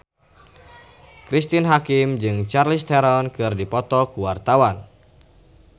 Cristine Hakim jeung Charlize Theron keur dipoto ku wartawan